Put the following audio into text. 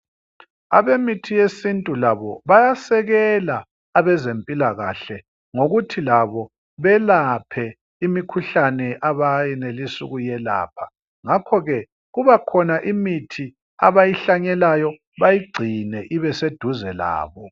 Abe mithi yesintu labo bayasekela abezempilakahle ngokuthi labo belaphe imikhuhlane abayenelisa ukuye lapha. Ngakho ke kuba khona imithi abayihlanyelayo bayigcine ibese duze labo.